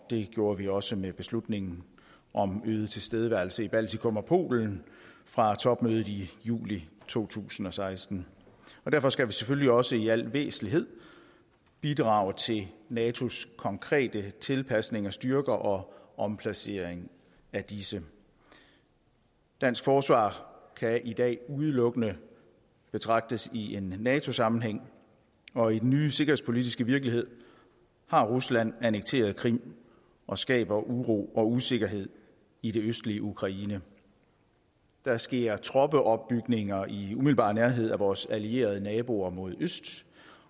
det gjorde vi også med beslutningen om øget tilstedeværelse i baltikum og polen fra topmødet i juli to tusind og seksten derfor skal vi selvfølgelig også i al væsentlighed bidrage til natos konkrete tilpasning af styrker og omplacering af disse dansk forsvar kan i dag udelukkende betragtes i en nato sammenhæng og i den nye sikkerhedspolitiske virkelighed har rusland annekteret krim og skaber uro og usikkerhed i det østlige ukraine der sker troppeopbygninger i umiddelbar nærhed af vores allierede naboer mod øst